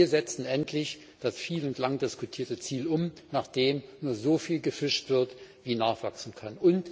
Wir setzen endlich das viel und lang diskutierte Ziel um, nach dem nur so viel gefischt wird wie nachwachsen kann.